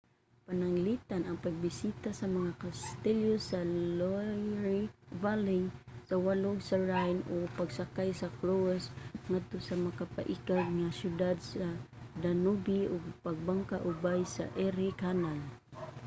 pananglitan ang pagbisita sa mga kastilyo sa loire valley sa walog sa rhine o pagsakay sa cruise ngadto sa makapaikag nga mga siyudad sa danube o pagbangka ubay sa erie canal